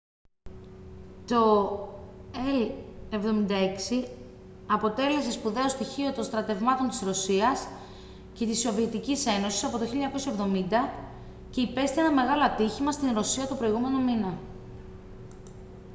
το il-76 αποτέλεσε σπουδαίο στοιχείο των στρατευμάτων της ρωσίας και της σοβιετικής ένωσης από το 1970 και υπέστη ένα μεγάλο ατύχημα στη ρωσία τον προηγούμενο μήνα